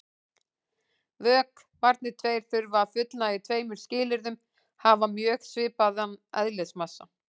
Vökvarnir tveir þurfa að fullnægja tveimur skilyrðum: Hafa mjög svipaðan eðlismassa.